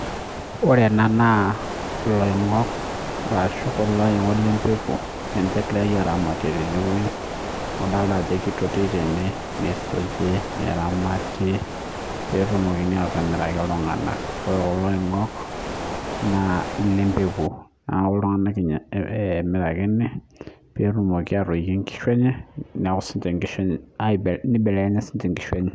ore ena na iloingok, arashu kulo oingok lempeku, ninche engirae aramat tene weuji, adolta ajo kitoiti tene, neisuji neramate petumoki atimiraki iltungana, ore kulo ongoik na ilempeku niaku iltungana emirakini, petumoki atimiraki inkishu enye, nibelekenya sininche inkishu enye,